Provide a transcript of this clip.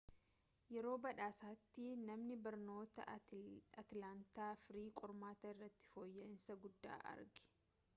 yeroo badhaasaatti manni barnootaa atilaantaa free qormata irratti foyya'iinsa guddaa arge